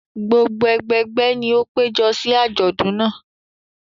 Gbogbo ẹgbẹgbẹ́ ni ó péjọ sí àjọ̀dún náà.